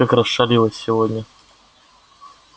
как расшалилась сегодня